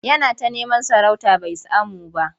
Yana ta neman sarauta bai samu ba.